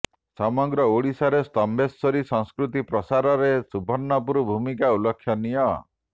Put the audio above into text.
ସମଗ୍ର ଓଡ଼ିଶାରେ ସ୍ତମ୍ଭେଶ୍ବରୀ ସଂସ୍କୃତି ପ୍ରସାରରେ ସୁବର୍ଣ୍ଣପୁରର ଭୂମିକା ଉଲ୍ଲେଖନୀୟ